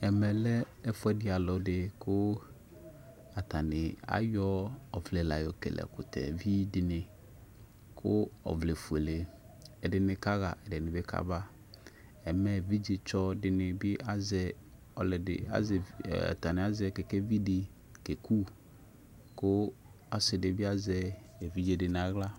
Ɛfʊɛdɩ alʊdɩ kʊ ayɔ ɔvlɛla yɔkele ɛkutɛvɩ dɩ kʊ ɔwlɛ efuele kʊ alʊ kaɣa kaba evidze tsɔ dɩnɩ azɛ kekevi kekʊ kʊ ɔsɩdɩbɩ azɛ evidze nʊ aɣla